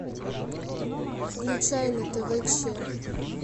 включай на тв че